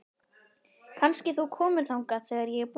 Kannski þú komir þangað þegar ég er búin?